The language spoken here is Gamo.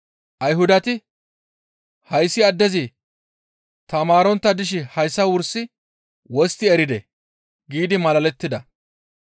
Ayhudati, «Hayssi addezi tamaarontta dishe hayssa wursi wostti eridee?» giidi malalettida.